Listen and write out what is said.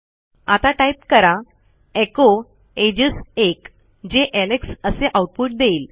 आता टाईप करा एचो एजेस 1 जे एलेक्स असे आऊटपुट देईल